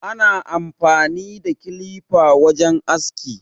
Ana amfani da kilifa wajen aski